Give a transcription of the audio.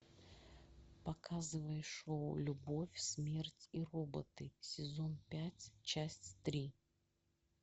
показывай шоу любовь смерть и роботы сезон пять часть три